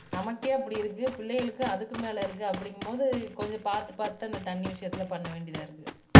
நமக்கே அப்படி இருக்கு பிள்ளைகளுக்கு அதுக்கு மேல இருக்கும் அப்படீங்கும்போது கொஞ்சம் பார்த்து பார்த்து தான் இந்த தண்ணி விஷயத்தில் பண்ண வேண்டியதா இருக்கு